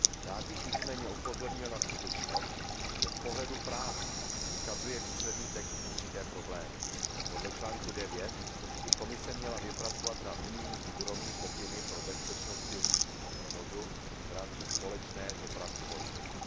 Rád bych nicméně upozornil na skutečnost, že z pohledu práva vykazuje výsledný text určité problémy. Podle článku 9 by Komise měla vypracovat na unijní úrovni pokyny pro bezpečnost silničního provozu v rámci společné dopravní politiky.